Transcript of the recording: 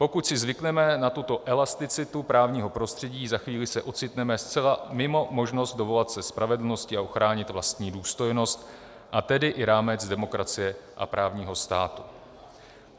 Pokud si zvykneme na tuto elasticitu právního prostředí, za chvíli se ocitneme zcela mimo možnost dovolat se spravedlnosti a ochránit vlastní důstojnost, a tedy i rámec demokracie a právního státu.